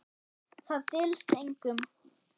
Það dylst engum.